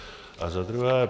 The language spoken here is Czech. A za druhé.